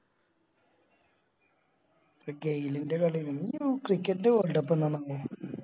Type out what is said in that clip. പക്ഷെ ഗെയിലിൻറെ കളി ആരുന്നു Cricket ൻറെ Worlcup എന്നാണപ്പോ